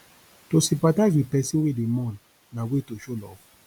to sympathize with persin wey de mourn na way to show love